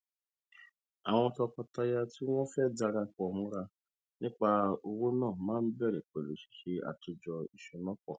àwọn tọkọtaya tí wọn fé darapọ mọra nípa owó máa ń bẹrẹ pẹlú ṣíṣe àtòjọ ìsúná pọ